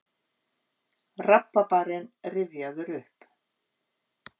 Rabarbarinn rifjaður upp.